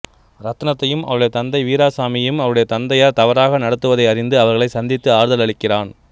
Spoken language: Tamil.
ரத்னத்தையும் அவளுடைய தந்தை வீராசாமியையும் அவருடைய தந்தையார் தவறாக நடத்துவதை அறிந்து அவர்களைச் சந்தித்து ஆறுதல் அளிக்கிறான்